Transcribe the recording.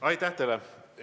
Aitäh teile!